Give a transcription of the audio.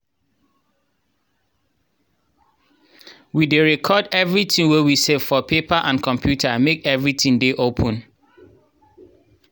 we dey record wetin we save for paper and computer make everitin dey open.